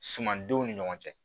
Sumandenw ni ɲɔgɔn cɛ